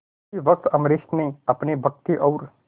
उसी वक्त अम्बरीश ने अपनी भक्ति और